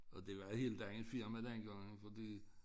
Og det var helt andet firma dengang fordi